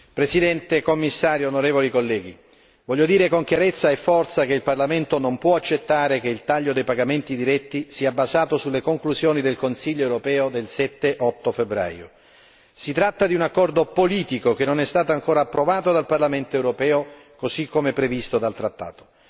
Signor Presidente, Signor Commissario, onorevoli colleghi, voglio dire con chiarezza e forza che il Parlamento non può accettare che il taglio dei pagamenti diretti sia basato sulle conclusioni del Consiglio europeo del 7 e 8 febbraio si tratta di un accordo politico che non è stato ancora approvato dal Parlamento europeo così come previsto dal trattato.